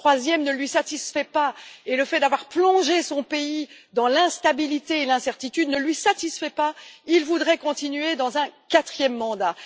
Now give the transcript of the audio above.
Le troisième ne le satisfait pas et le fait d'avoir plongé son pays dans l'instabilité et l'incertitude ne le satisfait pas non plus. Il voudrait continuer avec un quatrième mandat.